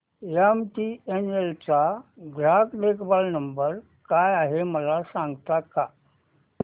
MTNL चा ग्राहक देखभाल नंबर काय आहे मला सांगता का